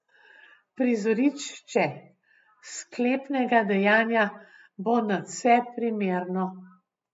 Prizorišče sklepnega dejanja bo nadvse primerno.